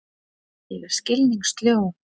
Ég er skilningssljó.